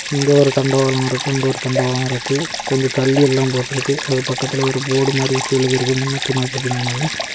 இங்க ஒரு தண்டவளம் இருக்கு அங்க ஒரு தண்டவளம் இருக்கு கொஞ்சம் தள்ளி எல்லாம் போட்ருக்கு அது பக்கத்துல ஒரு போர்டு மாரி கீழ இருக்கு முன்னூத்தி நாப்பத்தி மூனுன்னு.